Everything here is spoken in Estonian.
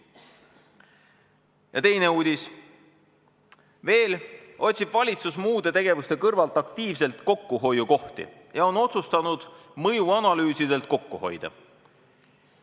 Ja teine uudis: "Veel otsib valitsus muude tegevuste kõrvalt aktiivselt kokkuhoiukohti ja on otsustanud mõjuanalüüsidelt kokku hoida.